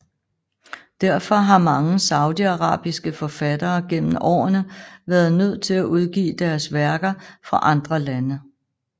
Derfor har mange saudiarabiske forfattere gennem årene været nødt til at udgive deres værker fra andre lande